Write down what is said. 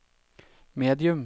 medium